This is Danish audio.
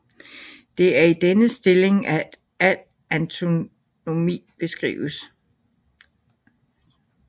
Det er i denne stilling at al anatomi beskrives